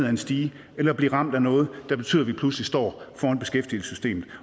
en stige eller blive ramt af noget der betyder at vi pludselig står foran beskæftigelsessystemet